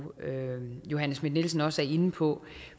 johanne schmidt nielsen også er inde på